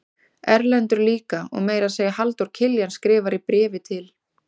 Erlendur líka og meira að segja Halldór Kiljan skrifar í bréfi til